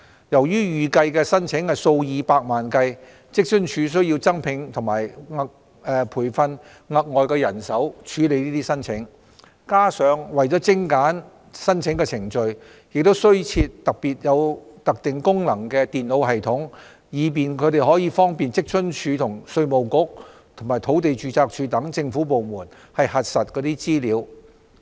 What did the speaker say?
由於預計的申請數以百萬計，職津處需增聘和培訓額外人手處理申請，加上為精簡申請程序，亦需增設具特定功能的電腦系統，方便職津處與稅務局及土地註冊處等政府部門核實資料。